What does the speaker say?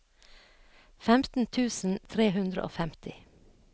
femten tusen tre hundre og femti